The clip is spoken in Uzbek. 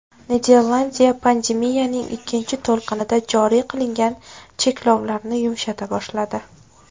Niderlandiya pandemiyaning ikkinchi to‘lqinida joriy qilingan cheklovlarni yumshata boshladi.